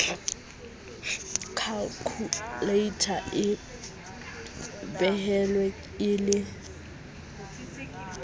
khalkhuleita e behilwe e le